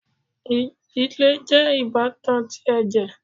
Ìdílé jẹ ibatan tí ẹjẹ